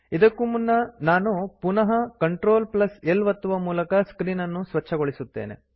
ಇದಕ್ಕೂ ಮುನ್ನ ನಾನು ಪುನಃ ಸಿಎಲ್ಟಿ L ಒತ್ತುವ ಮೂಲಕ ಸ್ಕ್ರೀನ್ ಅನ್ನು ಸ್ವಚ್ಛಗೊಳಿಸುತ್ತೇನೆ